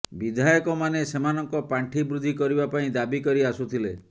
ବିଧାୟକମାନେ ସେମାନଙ୍କ ପାଣ୍ଠି ବୃଦ୍ଧି କରିବା ପାଇଁ ଦାବି କରି ଆସୁଥିଲେ